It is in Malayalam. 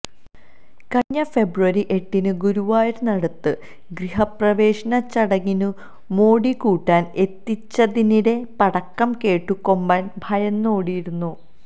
കഴിഞ്ഞ ഫെബ്രുവരി എട്ടിനു ഗുരുവായൂരിനടുത്ത് ഗൃഹപ്രവേശന ചടങ്ങിനു മോടി കൂട്ടാന് എത്തിച്ചതിനിടെ പടക്കം കേട്ടു കൊമ്പന് ഭയന്നോടിയിരുന്നു